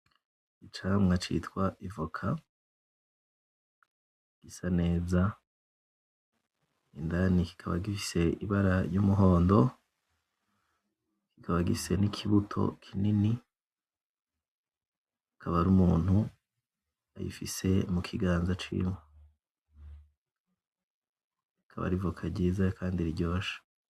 Icamwa citwa ivoka gisa neza indani kikaba gifise ibara ry'umuhondo kikaba gifise n'ikibuto kinini akaba ari umuntu ayifise mu kiganza ciwe, rikaba ari ivoka ryiza kandi riryoshe.